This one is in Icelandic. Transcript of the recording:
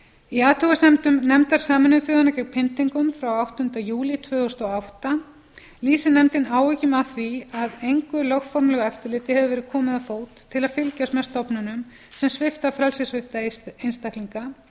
í athugasemdum nefndar sameinuðu þjóðanna gegn pyndingum frá áttunda júlí tvö þúsund og átta lýsir nefndin áhyggjum af því að engu lögformlegu eftirliti hefur verið komið á fót til að fylgjast með stofnunum sem svipta frelsissvipta einstaklinga